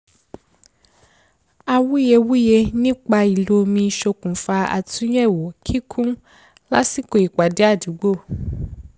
awuyewuye nípa ìlò òmi ṣokùnfà àtúnyẹ̀wò kíkún lásìkò ìpàdé àdúgbò